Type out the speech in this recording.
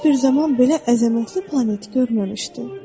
Heç bir zaman belə əzəmətli planet görməmişdi.